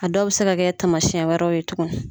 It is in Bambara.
A dɔw bi se ka kɛ tamasiyɛn wɛrɛw ye tugu